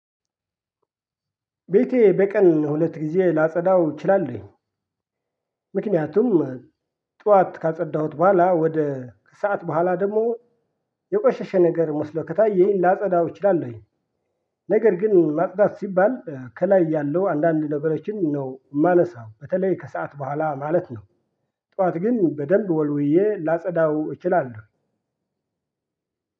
ቤቴ በቀን ሁለት ጊዜ ላጸዳው እችላለሁኝ ምክንያቱም ጠዋት ካጸዳሁት በኋላ ወደ ከሰአት በኋላ ደግሞ የቆሸሸ ነገር መስሎ ከታየኝ ላጸዳው እችላለሁኝ ነገር ግን ማጽዳት ሲባል ከላይ ያለው አንዳንድ ነገሮችን ነው ማነሳው በተለይ ከሰአት በኋላ ማለት ነው። ጠዋት ግን በደንብ ወልውዬ ላጸዳው እችላለሁ።